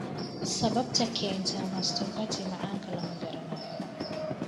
Sababta keenta mastopathy macaanka lama garanayo.